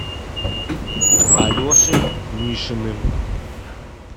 алешей мишиным